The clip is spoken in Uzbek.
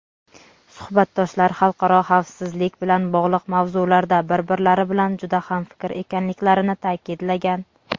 suhbatdoshlar "xalqaro xavfsizlik bilan bog‘liq mavzularda bir-birlari bilan juda hamfikr ekanliklarini" ta’kidlagan.